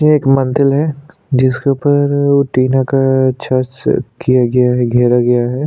ये एक मंदिल हैं जिसके ऊपर टीना का छज से किया गया है घेरा गया है।